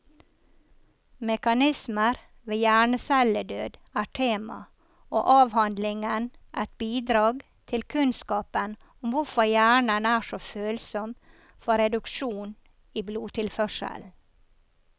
Mekanismer ved hjernecelledød er tema, og avhandlingen et bidrag til kunnskapen om hvorfor hjernen er så følsom for reduksjon i blodtilførselen.